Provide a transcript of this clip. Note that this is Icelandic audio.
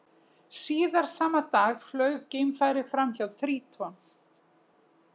Síðar sama dag flaug geimfarið fram hjá Tríton.